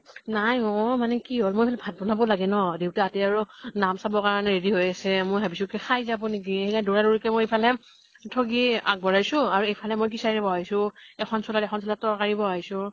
নাই অ। মানে কি হল মই ভাত বনাব লাগে ন, দেউতাহতে আৰু নাম চাব কাৰণে ready হৈ আছে | মই ভাবিছো কি খাই যাব নেকি, সেই কাৰণে দৌৰা দৌৰিকে মই ইফালে ঠ্গী আগ ব্ঢ়াইছো আৰু ইফালে মই খিচাৰী বহুৱাইছো এখন দুলাত এখন চুলাত তৰ্কাৰী বহুৱাইছো